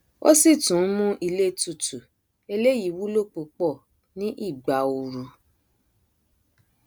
ó sì tún nmú ilé tutù eléyìí wúlò púpọ ní ìgbà oru